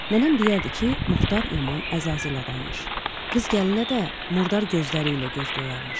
Nənəm deyərdi ki, Muxtar yaman əzazil adammış, qız gəlinə də murdar gözləri ilə göz qoyarmış.